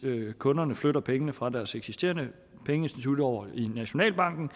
kunderne flytter pengene fra deres eksisterende pengeinstitutter og over i nationalbanken